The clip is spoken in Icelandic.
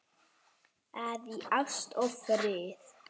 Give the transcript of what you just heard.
að í ást og friði